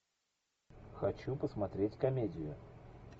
хочу посмотреть комедию